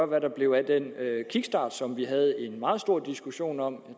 hvad der blev af den kickstart som vi havde en meget stor diskussion om